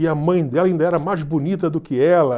E a mãe dela ainda era mais bonita do que ela.